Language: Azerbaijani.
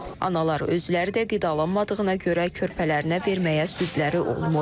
Analar özləri də qidalanmadığına görə körpələrinə verməyə südləri olmur.